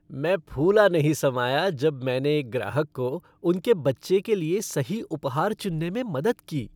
मैं फूला नहीं समाया जब मैंने एक ग्राहक को उनके बच्चे के लिए सही उपहार चुनने में मदद की।